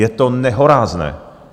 Je to nehorázné!